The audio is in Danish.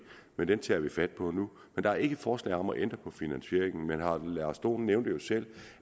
men det tager vi fat på nu men der er ikke forslag om at ændre på finansieringen herre lars dohn nævnte jo selv